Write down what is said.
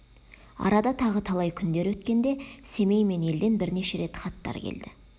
арада тағы талай күндер өткенде семей мен елден бірнеше рет хаттар келді